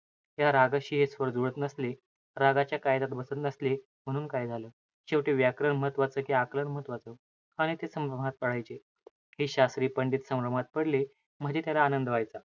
त्या रागाशी हे स्वर जुळत नसले, रागाच्या कायद्यात बसत नसले, म्हणून काय झालं? शेवटी व्याकरण महत्वाचं कि आकलन महत्वाचं? आणि ते संभ्रमात पडायचे. ते शास्त्रीय पंडित संभ्रमात पडले, म्हणजे त्याला आनंद व्हायचा.